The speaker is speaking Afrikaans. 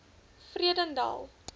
vredendal